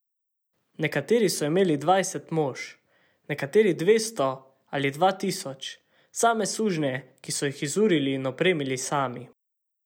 Nekateri so imeli dvajset mož, nekateri dvesto ali dva tisoč, same sužnje, ki so jih izurili in opremili sami.